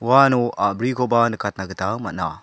uano a·brikoba nikatna gita man·a.